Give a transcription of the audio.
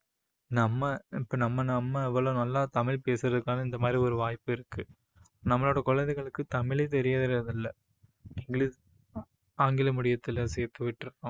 நம்ம இப்போ நம்ம நம்ம இவ்ளோ நல்லா தமிழ் பேசுறதுக்கான இந்த மாதிரி ஒரு வாய்ப்பு இருக்கு. நம்மளோட குழந்தைகளுக்கு தமிழே தெரியுறது இல்ல. ஆங்கில மொழியத்துல சேத்துவிட்ருக்கோம்